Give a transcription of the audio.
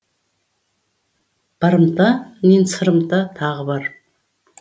барымта мен сырымта тағы бар